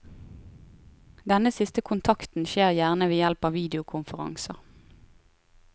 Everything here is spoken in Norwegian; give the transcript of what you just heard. Denne siste kontakten skjer gjerne ved hjelp av videokonferanser.